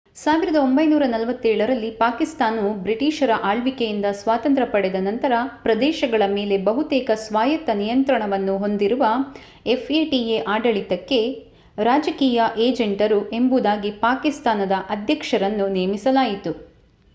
1947 ರಲ್ಲಿ ಪಾಕಿಸ್ತಾನವು ಬ್ರಿಟಿಷರ ಆಳ್ವಿಕೆಯಿಂದ ಸ್ವಾತಂತ್ರ್ಯ ಪಡೆದ ನಂತರ ಪ್ರದೇಶಗಳ ಮೇಲೆ ಬಹುತೇಕ ಸ್ವಾಯತ್ತ ನಿಯಂತ್ರಣವನ್ನು ಹೊಂದಿರುವ ಎಫ್ಎಟಿಎ ಆಡಳಿತಕ್ಕೆ ರಾಜಕೀಯ ಏಜೆಂಟರು ಎಂಬುದಾಗಿ ಪಾಕಿಸ್ತಾನದ ಅಧ್ಯಕ್ಷರನ್ನು ನೇಮಿಸಲಾಯಿತು